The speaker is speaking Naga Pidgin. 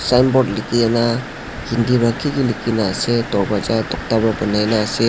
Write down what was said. signboard likhi kena hindi pa kiki likhikena ase dorpaja tokta pa banainaase.